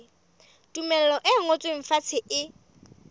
tumello e ngotsweng fatshe e